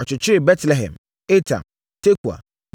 Ɔkyekyeree Betlehem, Etam, Tekoa,